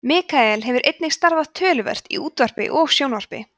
mikael hefur einnig starfað töluvert í útvarpi og sjónvarpi